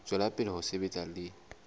tswela pele ho sebetsa le